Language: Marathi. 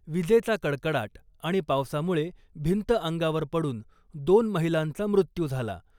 वीजेचा कडकडाट आणि पावसामुळे भिंत अंगावर पडुन दोन महिलांचा मृत्यू झाला .